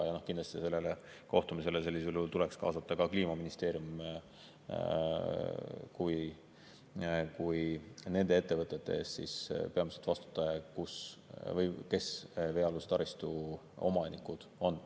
Kindlasti sellele kohtumisele sellisel juhul tuleks kaasata ka Kliimaministeerium kui peamine vastutaja nende ettevõtete eest, kes veealuse taristu omanikud on.